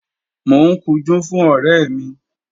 Mò ń kunjú fún ọ̀rẹ́ mi